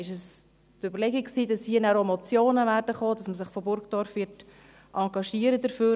War es die Überlegung, dass hier nachher auch Motionen kommen werden, dass man sich von Burgdorf her dafür engagieren wird?